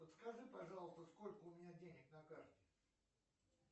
подскажи пожалуйста сколько у меня денег на карте